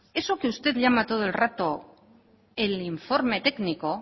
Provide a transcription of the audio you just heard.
eso que usted llama todo el rato el informe técnico